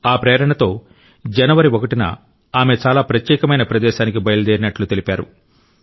ఆ ప్రేరణతో జనవరి 1న ఆమె చాలా ప్రత్యేకమైన ప్రదేశానికి బయలుదేరినట్టు తెలిపారు